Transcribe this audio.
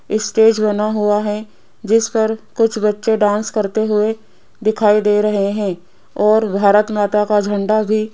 stage बना हुआ है जिस पर कुछ बच्चे डांस करते हुए दिखाई दे रहे हैं और भारत माता का झंडा भी --